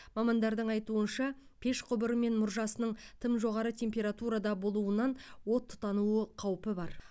мамандардың айтуынша пеш құбыры мен мұржасының тым жоғары температурада болуынан от тұтануы қаупі бар